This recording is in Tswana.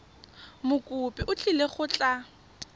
mokopi o tlile go tla